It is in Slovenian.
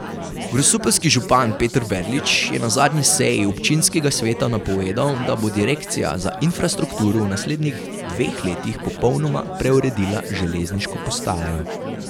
Grosupeljski župan Peter Verlič je na zadnji seji občinskega sveta napovedal, da bo direkcija za infrastrukturo v naslednjih dveh letih popolnoma preuredila železniško postajo.